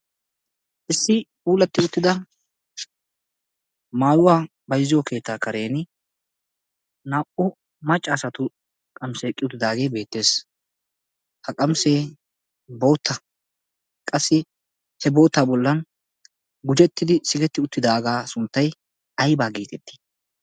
issi puulatti uttida maayuwaa baizziyo keettaa karen naa77u maccaasatu qamisee eqqi uttidaagee beettees. ha qamisee bootta qassi he bootta bollan gujettidi sigetti uttidaagaa sunttai aibaa giitettii?